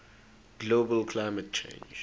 global climate change